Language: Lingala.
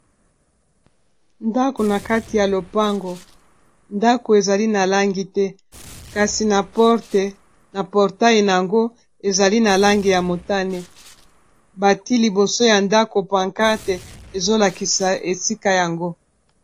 ndako na kati ya lopango ndako ezali na langi te kasi na portail na yango ezali na langi ya motane bati liboso ya ndako pancate ezolakisa esika yango